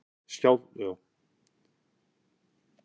Skjálftinn stytti sólarhringinn